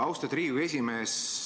Austatud Riigikogu esimees!